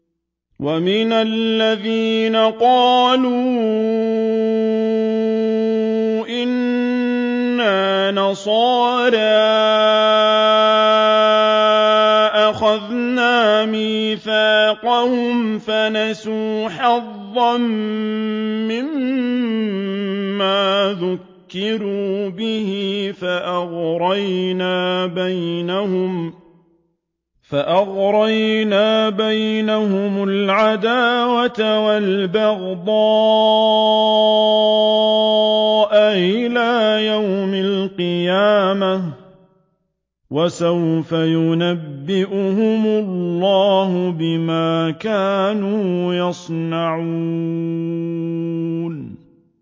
وَمِنَ الَّذِينَ قَالُوا إِنَّا نَصَارَىٰ أَخَذْنَا مِيثَاقَهُمْ فَنَسُوا حَظًّا مِّمَّا ذُكِّرُوا بِهِ فَأَغْرَيْنَا بَيْنَهُمُ الْعَدَاوَةَ وَالْبَغْضَاءَ إِلَىٰ يَوْمِ الْقِيَامَةِ ۚ وَسَوْفَ يُنَبِّئُهُمُ اللَّهُ بِمَا كَانُوا يَصْنَعُونَ